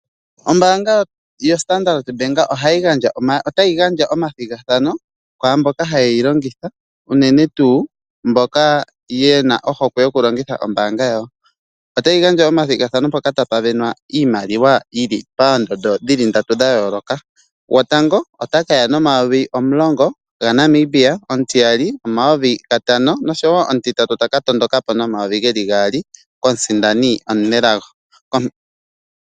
Ombaanga yo Standard Bank ota yi gandja omathigathano ku mboka haye yi longitha, unene tuu mboka yena ohokwe yokulongitha ombaanga yawo. Otayi gandja omathigathano mpoka tapu sindanwa iimaliwa yili pandondo dhili ndatu dha yooloka. Gotango ota ka ya nomayovi omulongo ga Namibia, omutiyali omayovi gatano noshowo omutitatu taka tondoka po nomayovi geli gaali komusindani omunelago.